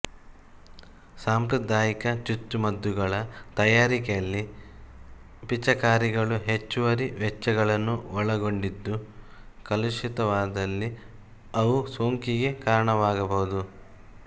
ಸಾಂಪ್ರದಾಯಿಕ ಚುಚ್ಚುಮದ್ದುಗಳ ತಯಾರಿಕೆಯಲ್ಲಿ ಪಿಚಕಾರಿಗಳು ಹೆಚ್ಚುವರಿ ವೆಚ್ಚಗಳನ್ನು ಒಳಗೊಂಡಿದ್ದು ಕಲುಷಿತವಾದಲ್ಲಿ ಅವು ಸೋಂಕಿಗೆ ಕಾರಣವಾಗಬಹುದು